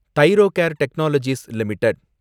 Thyrocare Technologies limited